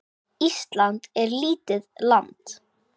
Ísland er lítið land.